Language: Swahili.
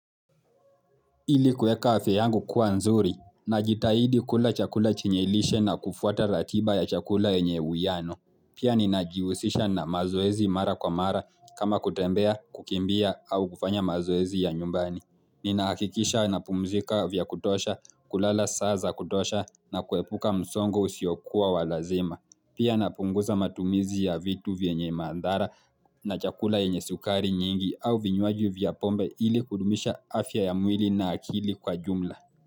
Ili kueka afya yangu kuwa nzuri, najitahidi kula chakula chenye lishe na kufuata ratiba ya chakula enye uiano. Pia ninajihusisha na mazoezi mara kwa mara kama kutembea, kukimbia au kufanya mazoezi ya nyumbani. Ninahakikisha napumzika vya kutosha, kulala saa za kutosha na kuepuka msongo usiokua wa lazima. Matumizi ya vitu vyenye maadhara na chakula yenye sukari nyingi au vinywaji vya pombe ili kuudumisha afya ya mwili na akili kwa jumla.